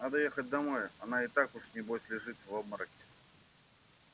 надо ехать домой она и так уж небось лежит в обмороке